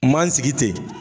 N man n sigi ten